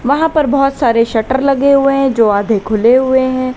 वहां पर बहुत सारे शटर लगे हुए हैं जो आधे खुले हुए हैं।